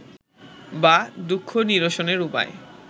বা দুঃখ নিরসনের উপায়